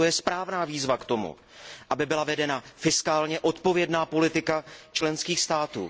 Proto je správná výzva k tomu, aby byla vedena fiskálně odpovědná politika členských států.